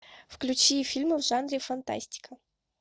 включи фильмы в жанре фантастика